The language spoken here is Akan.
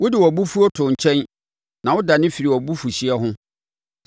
Wode wʼabofuo too nkyɛn na wodane firii wʼabufuhyeɛ ho.